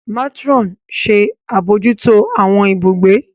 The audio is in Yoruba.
Matron ṣe abojuto awọn ibùgbé.